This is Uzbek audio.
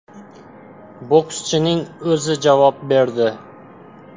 Bokschining o‘zi javob berdi.